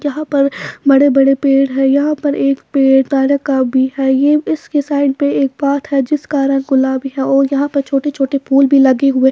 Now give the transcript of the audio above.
यहां पर बड़े-बड़े पेड़ है यहां पर एक पेड़ तारे का भी है ये इसके साइड पे एक पाथ हैं जिसका रंग गुलाबी है और यहां पर छोटे-छोटे फूल भी लगे हुए--